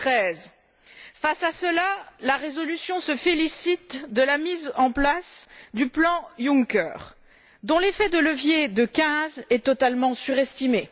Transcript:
2013. Face à cela, la résolution se félicite de la mise en place du plan Juncker, dont l'effet de levier de 15 est totalement surestimé.